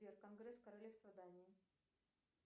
сбер конгресс королевства дании